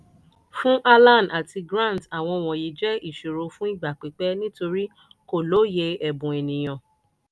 fún alan àti grant àwọn wọ̀nyí jẹ́ ìṣòro fún ìgbà pípẹ́ nítorí kò lóye ẹ̀bùn ènìyàn.